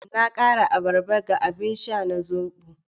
Na kara abarba ga abin sha na zobo